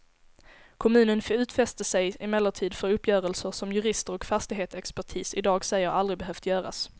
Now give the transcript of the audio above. Kommunen utfäste sig emellertid för uppgörelser som jurister och fastighetsexpertis i dag säger aldrig behövt göras.